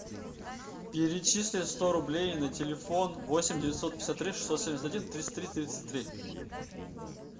перечисли сто рублей на телефон восемь девятьсот пятьдесят три шестьсот семьдесят один тридцать три тридцать три